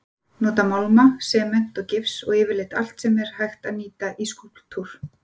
Nota málma, sement og gifs og yfirleitt allt sem hægt er að nýta í skúlptúr.